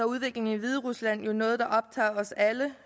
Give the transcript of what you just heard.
udviklingen i hviderusland jo noget der optager os alle